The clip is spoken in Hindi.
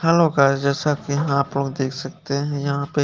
हेलो गाइस ये सब यहाँ आपको देख सकते है यहाँ पे--